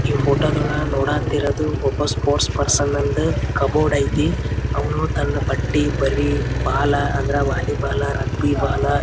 ನಾನು ಹೋಗಿ ಕಸ್ಟಮರನ್ ವಿಚಾರಸ್ಕೊಂಡು ಏನ್ ಬೇಕ್ ಅಂತ ಕೆಲ ಕೇಳಿ ಕೊಡ್ತಾ ಇರ್ತೇನಿ.